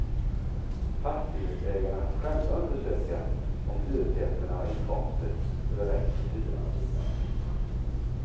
Fastighetsägarna får själva undersöka om hyresgästerna har inkomster så det räcker till hyran och liknande.